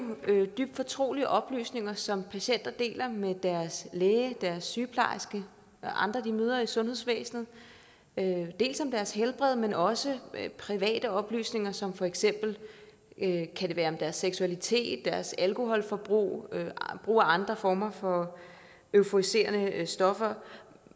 dybt fortrolige oplysninger som patienter deler med deres læge deres sygeplejerske og andre de møder i sundhedsvæsenet om deres helbred men også private oplysninger som for eksempel kan være om deres seksualitet deres alkoholforbrug brug af andre former for euforiserende stoffer